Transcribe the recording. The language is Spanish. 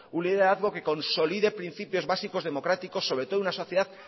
un liderazgo que consolide principios básicos democráticos sobre todo en una sociedad